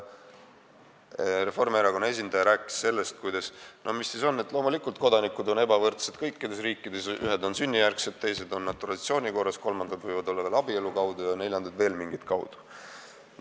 Reformierakonna esindaja rääkis sellest, et mis siis on, kodanikud on ebavõrdsed kõikides riikides: ühed on sünnijärgsed kodanikud, teised on kodakondsuse saanud naturalisatsiooni korras, kolmandad abielu kaudu ja neljandad veel mingit pidi.